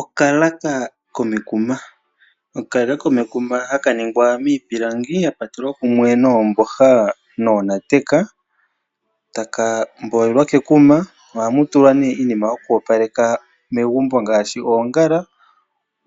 Okalaaka komekuma. Okalaaka komekuma haka ningwa miipilangi ya kwatelwa kumwe noomboha noonateka taka mbolelwa kekuma. Ohamu tulwa nee iinima yoku opaleka megumbo ngaashi oongala,